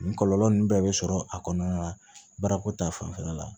Nin kɔlɔlɔ ninnu bɛɛ bɛ sɔrɔ a kɔnɔna na baarako ta fanfɛla la